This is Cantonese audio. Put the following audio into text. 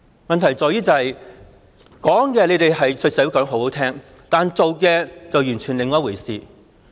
問題在於政府對社會說得很動聽，但做的卻完全是另一回事。